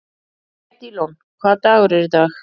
Edílon, hvaða dagur er í dag?